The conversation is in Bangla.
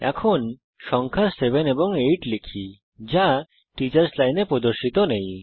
এখন সংখ্যা সাত এবং আট লিখি যা টিচার্স লাইনে প্রদর্শিত নেই